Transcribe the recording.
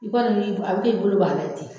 I b'a a bɛ k'i bolo i b'a la ten